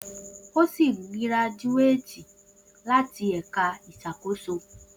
O si graduated lati isakoso Eka